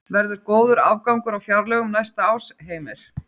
Verður góður afgangur á fjárlögum næsta árs, Heimir?